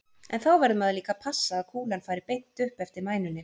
En þá verður maður líka að passa að kúlan fari beint upp eftir mænunni.